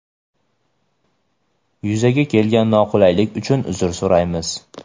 Yuzaga kelgan noqulaylik uchun uzr so‘raymiz.